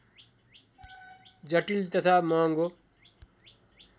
जटिल तथा महङ्गो